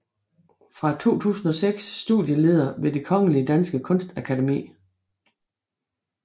Fra 2006 studieleder ved det Kongelige Danske Kunstakademi